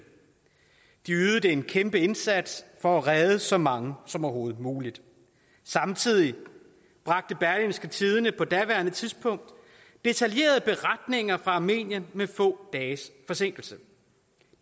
de ydede en kæmpe indsats for at redde så mange som overhovedet muligt samtidig bragte berlingske tidende på daværende tidspunkt detaljerede beretninger fra armenien med få dages forsinkelse